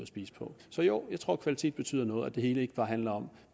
spise på så jo jeg tror at kvalitet betyder noget og at det hele ikke bare handler om